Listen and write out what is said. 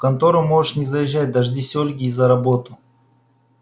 в контору можешь не заезжать дождись ольги и за работу